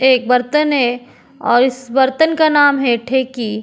एक बर्तन है और इस बर्तन का नाम है ठेकी।